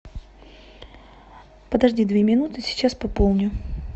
подожди две минуты сейчас пополню